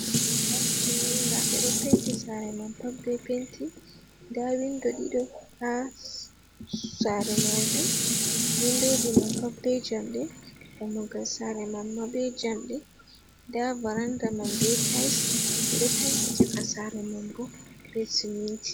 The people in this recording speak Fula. Sare timminga ɓeɗo Penti Sare man pat be penti. Nda windo ɗido ha SSare majum, windoji man pat be jamɗee dammugal Sare man ma be jamɗee. Nda varanda man be tayis ɓeɗo tanki Caka Sare man bo be Sminti.